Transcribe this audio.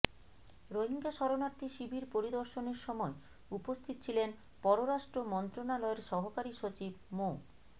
রোহিঙ্গা শরণার্থী শিবির পরিদর্শনের সময় উপস্থিত ছিলেন পররাষ্ট্র মন্ত্রণালয়ের সহকারী সচিব মো